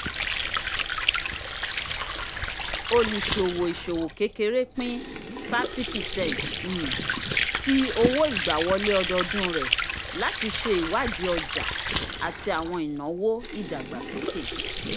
oluṣowo iṣowo kékeré pin thirty percent um ti owo-igbawọle ọdọọdun rẹ láti ṣe iwadii ọja ati awọn inawo ìdàgbàsókè